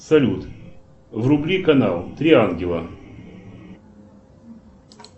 салют вруби канал три ангела